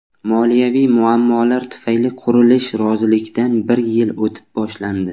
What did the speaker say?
Moliyaviy muammolar tufayli qurilish rozilikdan bir yil o‘tib boshlandi.